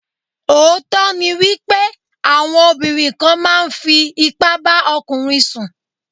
Òótọ́ ni wípé àwọn obìnrin kan máa ń fi ipá bá ọkùnrin sùn.